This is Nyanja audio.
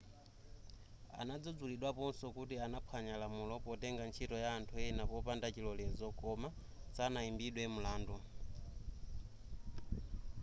anadzudzulidwaponso kuti anaphwanya lamulo potenga ntchito ya anthu ena popanda chilolezo koma sanaimbidwe mlandu